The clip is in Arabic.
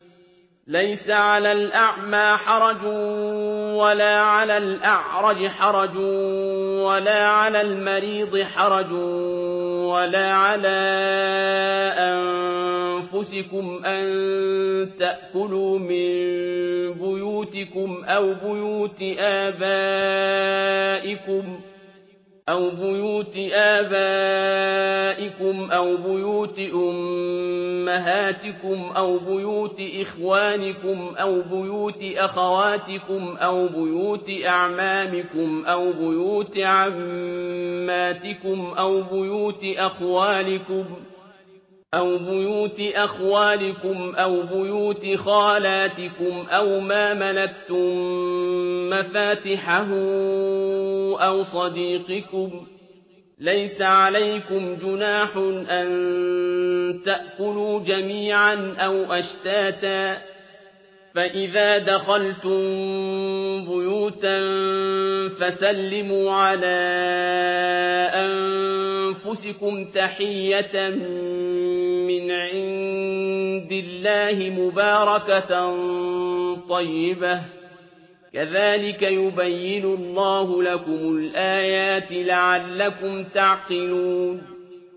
لَّيْسَ عَلَى الْأَعْمَىٰ حَرَجٌ وَلَا عَلَى الْأَعْرَجِ حَرَجٌ وَلَا عَلَى الْمَرِيضِ حَرَجٌ وَلَا عَلَىٰ أَنفُسِكُمْ أَن تَأْكُلُوا مِن بُيُوتِكُمْ أَوْ بُيُوتِ آبَائِكُمْ أَوْ بُيُوتِ أُمَّهَاتِكُمْ أَوْ بُيُوتِ إِخْوَانِكُمْ أَوْ بُيُوتِ أَخَوَاتِكُمْ أَوْ بُيُوتِ أَعْمَامِكُمْ أَوْ بُيُوتِ عَمَّاتِكُمْ أَوْ بُيُوتِ أَخْوَالِكُمْ أَوْ بُيُوتِ خَالَاتِكُمْ أَوْ مَا مَلَكْتُم مَّفَاتِحَهُ أَوْ صَدِيقِكُمْ ۚ لَيْسَ عَلَيْكُمْ جُنَاحٌ أَن تَأْكُلُوا جَمِيعًا أَوْ أَشْتَاتًا ۚ فَإِذَا دَخَلْتُم بُيُوتًا فَسَلِّمُوا عَلَىٰ أَنفُسِكُمْ تَحِيَّةً مِّنْ عِندِ اللَّهِ مُبَارَكَةً طَيِّبَةً ۚ كَذَٰلِكَ يُبَيِّنُ اللَّهُ لَكُمُ الْآيَاتِ لَعَلَّكُمْ تَعْقِلُونَ